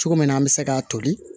Cogo min na an bɛ se ka toli